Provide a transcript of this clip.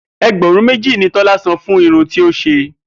E̩gbè̩rún méjì ni Tó̩lá san fún irun tí ó s̩e